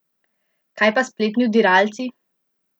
Kaj pa spletni vdiralci?